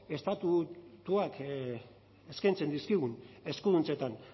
estatutuak eskaintzen dizkigun eskuduntzetan